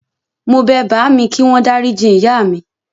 Mo bẹ bàámi kíwọ́n dáríji ìyá mi.